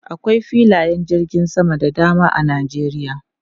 Akwai filayen jirgin sama da dama a Nijeriya.